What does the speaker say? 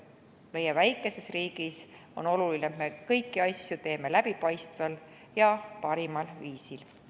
Meie väikeses riigis on oluline, et teeksime kõiki asju läbipaistval ja parimal viisil.